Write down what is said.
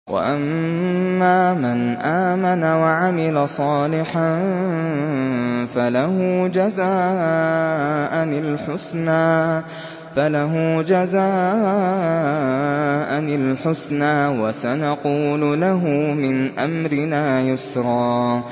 وَأَمَّا مَنْ آمَنَ وَعَمِلَ صَالِحًا فَلَهُ جَزَاءً الْحُسْنَىٰ ۖ وَسَنَقُولُ لَهُ مِنْ أَمْرِنَا يُسْرًا